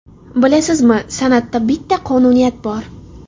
Bilasizmi, san’atda bitta qonuniyat bor.